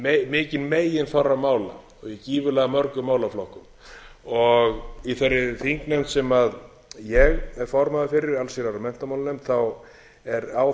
mikinn meginþorra mála og í gífurlega mörgum málaflokkum í þeirri þingnefnd sem ég er formaður fyrir allsherjar og menntamálanefnd er á